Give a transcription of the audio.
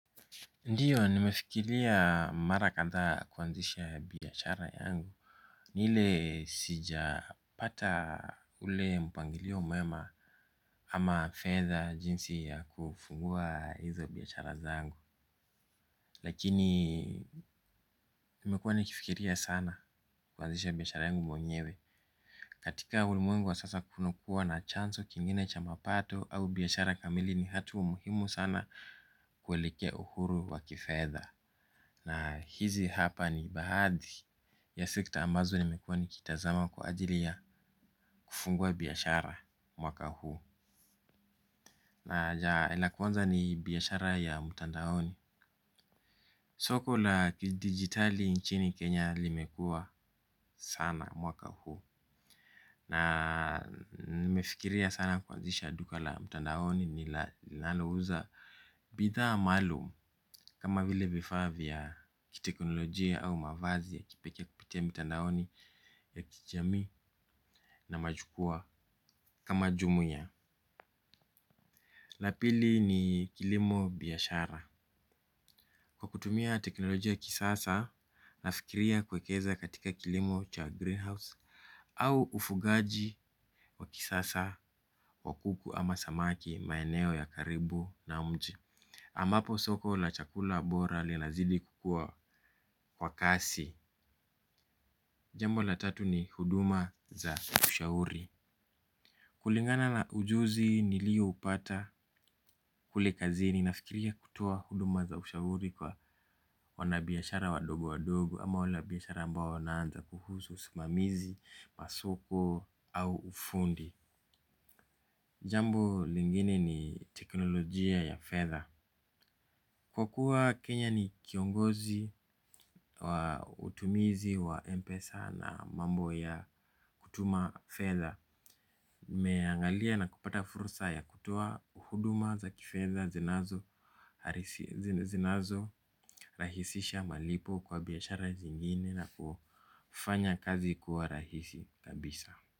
Ndiyo, nimefikilia mara kathaa kuanzisha biashara yangu. Ni ile sija pata ule mpangilio mwema ama fedha jinsi ya kufungua hizo biashara zangu. Lakini, nimekua nikifikiria sana, kuanzisha biashara yangu mwenyewe. Katika ulimwengu wa sasa kunukua na chanso kingine cha mapato au biashara kamili ni hatu umuhimu sana, kuelekea uhuru waki fedha. Na hizi hapa ni bahathi ya sekta ambazo nimekuwa nikitazama kwa ajili ya, kufungua biashara, mwaka huu aja la kwanza ni, biashara ya mtandaoni. Soko la kidigitali, nchini Kenya limekuwa sana, mwaka huu. Na nimefikiria sana kuanzisha duka la mtandaoni linalouza bidhaa maalum. Kama vile vifaa vya kiteknolojia au mavazi ya kipekee kupitia mitandaoni ya kijamii na majukua kama jumu ya. La pili ni, kilimo biashara. Kwa kutumia teknolojia ya kisasa na fikiria kwekeza katika kilimo cha greenhouse au ufugaji, wa kisasa wa kuku ama samaki, maeneo ya karibu na mji. Amapo soko la chakula bora linazidi kukua kwa kasi. Jambo la tatu ni, huduma za ushauri. Kulingana na ujuzi nilioupata kule kazini, nafikiria kutoa huduma za ushauri kwa wanabiashara wadogo wadogo ama wanabiashara ambao wanaanza kuhusu usimamizi wa soko, au ufundi. Jambo lingine ni teknolojia ya fedha. Kwa kuwa Kenya ni kiongozi wa utumizi wa MPESA na mambo ya kutuma fedha, meangalia na kupata fursa ya kutoa huduma za kifedha zinazo zinazo rahisisha malipo kwa biashara zingine na kufanya kazi kuwa rahisi, kabisa.